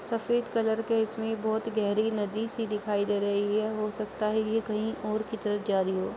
सफ़ेद कलर की इस में बहुत गहरी सी नदी दिखाई दे रही है। हो सकता है कि ये कहीं और की तरफ जा रही हो।